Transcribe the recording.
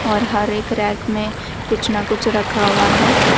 और हर एक रैक में कुछ ना कुछ रखा हुआ है।